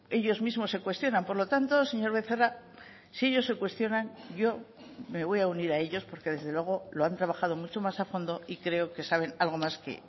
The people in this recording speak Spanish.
ellos mismos se cuestionan por lo tanto señor becerra si ellos se cuestionan yo me voy a unir a ellos porque desde luego lo han trabajado mucho más a fondo y creo que saben algo más que